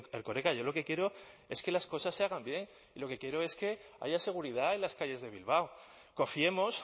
erkoreka yo lo que quiero es que las cosas se hagan bien lo que quiero es que haya seguridad en las calles de bilbao confiemos